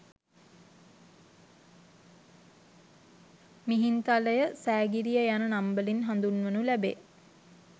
මිහින්තලය, සෑගිරිය යන නම් වලින් හඳුන්වනු ලැබේ.